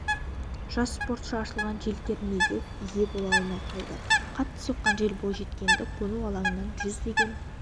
жас спортшы ашылған желкермеге ие бола алмай қалды қатты соққан жел бойжеткенді қону алаңынан жүздеген